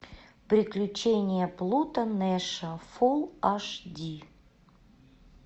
приключения плуто нэша фул аш ди